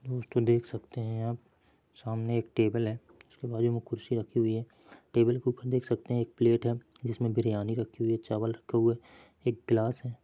दोस्तों देख सकते है आप सामने एक टेबल है उसके बाजू मे कुर्सी रखी हुई है टेबल के ऊपर देख सकते है एक प्लैट है जिसमे बिरयानी रखी हुई है चावल रखे हुए है एक ग्लास है।